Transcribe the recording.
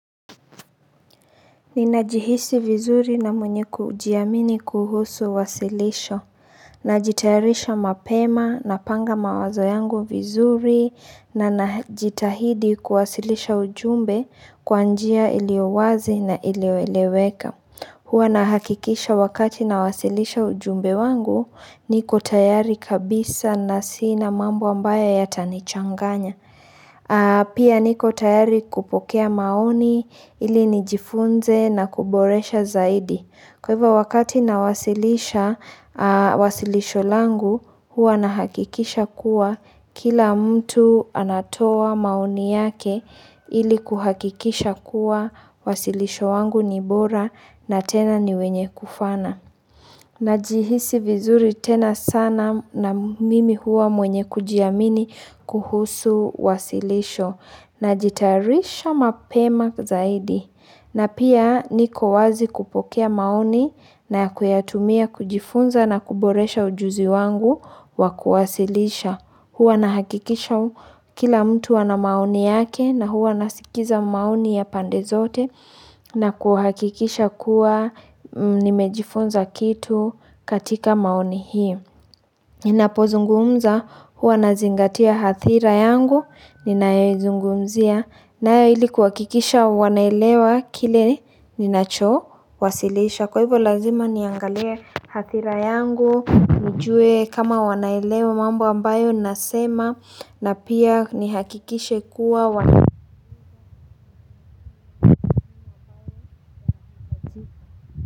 Ninajihisi vizuri na mwenye kujiamini kuhusu wasilisho. Najitayarisha mapema, napanga mawazo yangu vizuri, na najitahidi kuwasilisha ujumbe kwa njia iliowazi na ilioeleweka. Huwa nahakikisha wakati na wasilisha ujumbe wangu niko tayari kabisa na sina mambo ambaye yata nichanganya. Pia niko tayari kupokea maoni ili nijifunze na kuboresha zaidi. Kwa hivyo wakati nawasilisha wasilisho langu huwa na hakikisha kuwa kila mtu anatoa maoni yake ili kuhakikisha kuwa wasilisho wangu nibora na tena ni wenye kufana. Najihisi vizuri tena sana na mimi huwa mwenye kujiamini kuhusu wasilisho na jitarisha mapema zaidi na pia niko wazi kupokea maoni na kuyatumia kujifunza na kuboresha ujuzi wangu wa kuwasilisha. Huwa nahakikisha kila mtu ana maoni yake na huwa nasikiza maoni ya pande zote na kuhakikisha kuwa nimejifunza kitu kwatika maoni hii ninapozungumza huwa nazingatia hathira yangu ninayoizungumzia nae ili kuhakikisha wanaelewa kile ninacho wasilisha kwa ivo lazima niangalie hathira yangu nijue kama wanaelewa mambo ambayo nasema na pia nihakikishe kuwa wa.